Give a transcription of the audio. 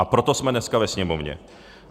A proto jsme dneska ve Sněmovně.